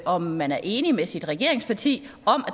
om man er enig med sin regeringspartner i at